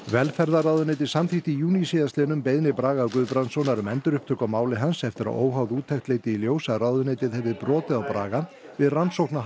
velferðarráðuneytið samþykkti í júní síðastliðinn beiðni Braga Guðbrandssonar um endurupptöku á máli hans eftir að óháð úttekt leiddi í ljós að ráðuneytið hefði brotið á Braga við rannsókn á